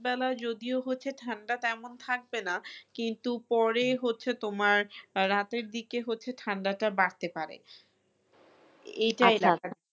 বেলায় যদিও হচ্ছে ঠান্ডা তেমন থাকবেনা কিন্তু পরে হচ্ছে তোমার রাতের দিকে হচ্ছে ঠান্ডাটা বাড়তে পারে এই টাই